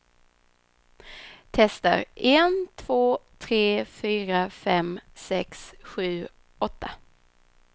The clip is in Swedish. Testar en två tre fyra fem sex sju åtta.